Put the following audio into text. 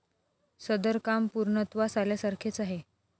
सदर काम पूर्णत्वास आल्यासारखेच आहे.